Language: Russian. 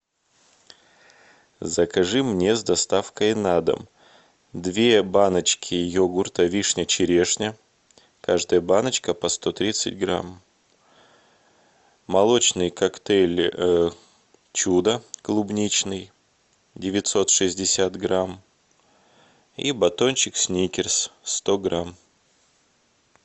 закажи мне с доставкой на дом две баночки йогурта вишня черешня каждая баночка по сто тридцать грамм молочный коктейль чудо клубничный девятьсот шестьдесят грамм и батончик сникерс сто грамм